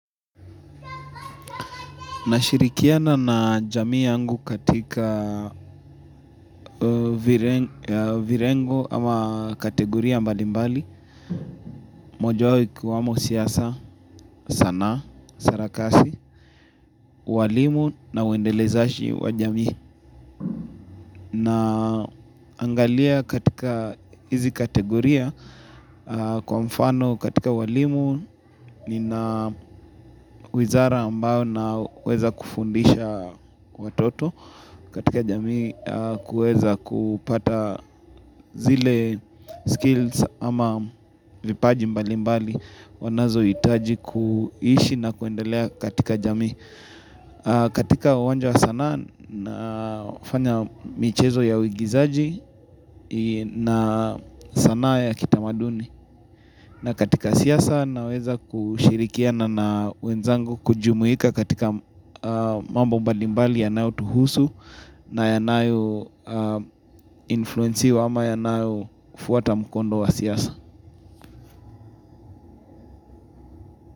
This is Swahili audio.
Nashirikiana na jamii yangu katika vilengo ama kategoria mbali mbali, mojawao ikiwamo siasa sanaa, sarakasi, waalimu na uendelezaji wa jamii. Naangalia katika hizi kategoria kwa mfano katika waalimu nina wizara ambao naweza kufundisha watoto katika jamii kuweza kupata zile skills ama vipaji mbali mbali wanazohitaji kuishi na kuendelea katika jamii katika uwanja wa sanaa nafanya michezo ya uigizaji na sanaa ya kitamaduni na katika siasa naweza kushirikiana na wenzangu kujumuika katika mambo mbalibali yanayotuhusu na yanayo influenciwa ama yanayo fuata mkondo wa siasa.